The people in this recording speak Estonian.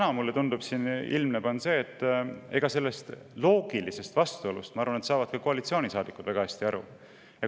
Aga mulle tundub, et sellest loogilisest vastuolust saavad ka koalitsioonisaadikud väga hästi aru.